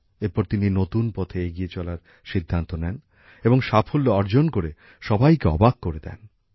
এরপর তিনি নতুন পথে এগিয়ে চলার সিদ্ধান্ত নেন এবং সাফল্য অর্জন করে সবাইকে অবাক করে দেন